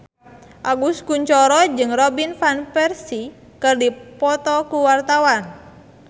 Agus Kuncoro jeung Robin Van Persie keur dipoto ku wartawan